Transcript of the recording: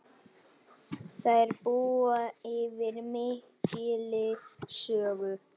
Þær búa yfir mikilli sögu.